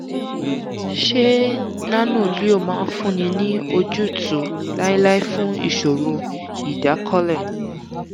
ṣé nano-leo máa fúnni ní ojútùú láéláé fún ìṣòro ìdákọ́lẹ̀?